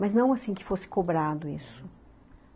Mas não assim que fosse cobrado isso.